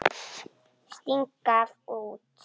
Sting gaf út.